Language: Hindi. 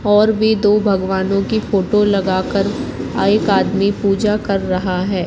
और भी दो भगवानों की फोटो लगाकर एक आदमी पूजा कर रहा है।